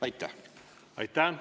Aitäh!